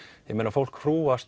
fólk hrúgast